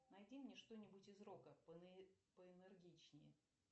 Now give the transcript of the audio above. найди мне что нибудь из рока поэнергичнее